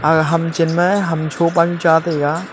aha chem chan ma ham cho pa nu cha taiga.